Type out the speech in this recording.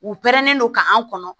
U pɛrɛnnen don ka an kɔnɔ